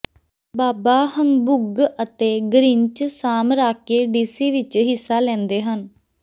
ਬਾਬਾ Humbug ਅਤੇ Grinch ਸਾਮਰਾਕੀ DC ਵਿਚ ਹਿੱਸਾ ਲੈਂਦੇ ਹਨ